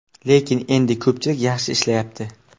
Lekin endi ko‘pchilik yaxshi ishlayapti.